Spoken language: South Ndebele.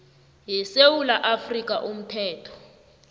yesewula afrika umthetho